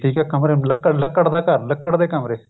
ਠੀਕ ਏ ਕਮਰੇ ਲੱਕੜ ਦਾ ਘਰ ਲੱਕੜ ਦੇ ਕਮਰੇ